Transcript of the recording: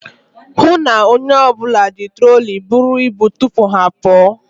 Hụụ na onye ọbụla ji troli buru ibu tupu ha apụọ.